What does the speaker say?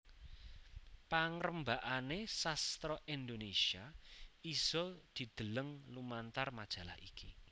Pangrembakane sastra Indonesia isa didheleng lumantar majalah iki